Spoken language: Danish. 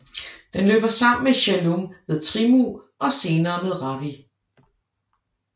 Den løber sammen med Jhelum ved Trimmu og senere med Ravi